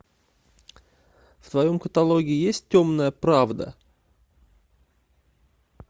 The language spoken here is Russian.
в твоем каталоге есть темная правда